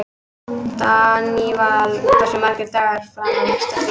Daníval, hversu margir dagar fram að næsta fríi?